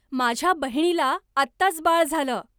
माझ्या बहिणीला आत्ताच बाळ झालं